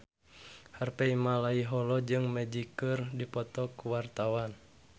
Harvey Malaiholo jeung Magic keur dipoto ku wartawan